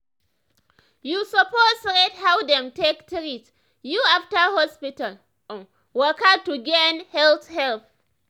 you suppose rate how dem take treat you after hospital um waka to gain health help.